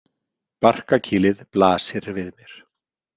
Barkakýlið blasir við mér.